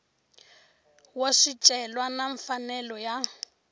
wa swicelwa na mfanelo ya